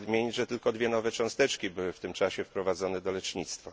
Chce nadmienić, że tylko dwie nowe cząsteczki były w tym czasie wprowadzone do lecznictwa.